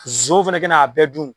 Nson fɛnɛ kɛ na a bɛɛ dun.